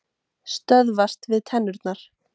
Stöðvast við tennurnar.